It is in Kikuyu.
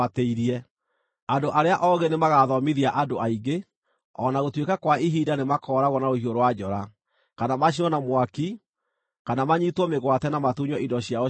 “Andũ arĩa oogĩ nĩmagathomithia andũ aingĩ, o na gũtuĩka kwa ihinda nĩmakooragwo na rũhiũ rwa njora, kana macinwo na mwaki, kana manyiitwo mĩgwate na matunywo indo ciao cia bata.